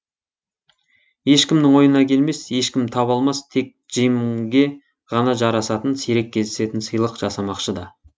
ешкімнің ойына келмес ешкім таба алмас тек джимге ғана жарасатын сирек кездесетін сыйлық жасамақшы да